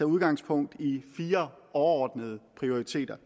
udgangspunkt i fire overordnede prioriteter